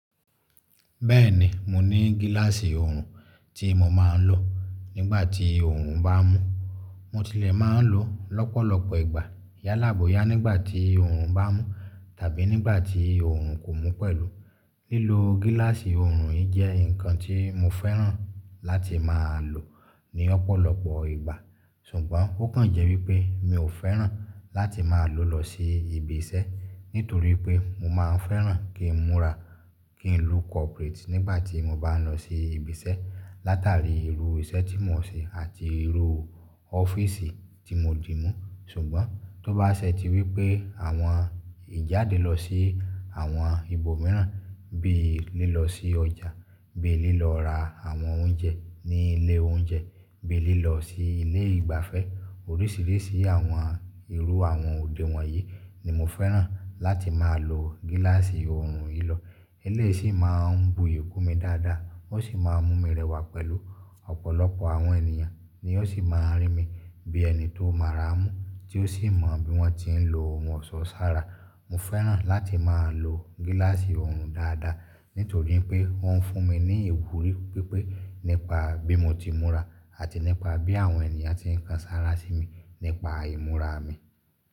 Bẹ́ẹ̀ni, mo ní gíláàsì ọrùn tí mo máa ń lò nígbà tí ọrùn bá mú. Mo tilẹ̀ máa ń lò ó lọ́pọ̀lọpọ̀ ìgbà. Yálàboya nígbà tí ọrùn bá mú tàbí nígbà tí ọrùn kò mú pẹ̀lú. Lílo gíláàsì ọrùn yìí jẹ́ nǹkan tí mo fẹ́ràn láti máa lò ní ọ̀pọ̀lọpọ̀ ìgbà. Ṣùgbọ́n ó kàn jẹ́ wípé mi ò fẹ́ràn láti máa lò lọ sí ibi iṣẹ́. Nítorí pé mo máa ń fẹ́ràn kí n múra, kí n look corporate nígbà tí mo bá lọ sí ibi iṣẹ́. Látàrí irú iṣẹ́ tí mò ń ṣe àti irú ọ́fíìsì tí mo dì mú. Ṣùgbọ́n tó bá ṣẹ́ ti wípé àwọn ìjáde lọ sí àwọn ibòmíràn bí i lílọ sí ọjà, bí i lílọ ra àwọn oúnjẹ ní ilé oúnjẹ, bí i lílọ sí ilé ìgbafẹ́, oríṣìíríṣìí àwọn irú àwọn òde wọn yìí ni mo fẹ́ràn láti máa lo gíláàsì ọrùn yìí lọ. Eléyìí sì máa ń buyì kún mi dáadáa, ó sì máa ń mú mi rẹwà pẹ̀lú. Ọ̀pọ̀lọpọ̀ àwọn ènìyàn ni ó sì máa ń rí mi bí ẹni tó mọ́ra mú, tí ó sì mọ bí wọ́n ti ń lọ ohun ọ̀ọ́sọ sára. Mo fẹ́ràn láti máa lo gíláàsì ọrùn dáadáa. Nítorí pé ó ń fún mi ní ìwúrí pi pé nípa bí mo ti múra àti nípa bí àwọn ènìyàn ti ń kan sára sí mi nípa ìmúra mi.